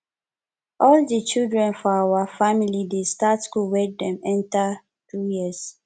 all di children for our family dey start school wen dem enter 2 years